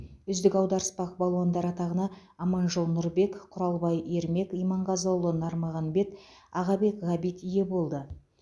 үздік аударыспақ балуандары атағына аманжол нұрбек құралбай ермек иманғазыұлы нармағанбет ағабек ғабит ие болды